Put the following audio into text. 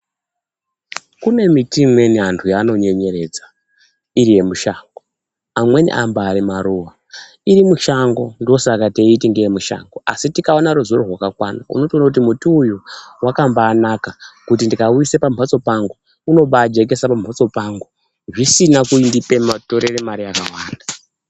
Kune miti imweni anthu yaanonyenyeredza iri yemushango amweni ambaari maruva iri mushango ndosaka teiti ngeyemushango asi tikaona ruzivo rwakakwana unotoona kuyi muti uyuy wakambaanaka kuti ndikauisa pambatso pangu unombaajekesa pambatso pangu zvisina kunditorera mare yakawanda.